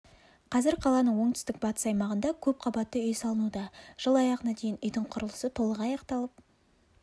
қазір қаланың оңтүстік-батыс аймағында көп қабатты үй салынуда жыл аяғына дейін үйдің құрылысы толық аяқталып